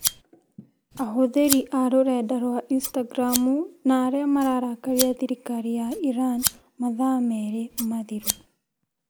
Ahũthĩri a rũrenda rwa Instagramu na arĩa mararakaria thirikari ya Iran mathaa merĩ mathiru